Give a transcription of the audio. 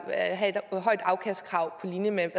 have et højt afkastkrav på linje med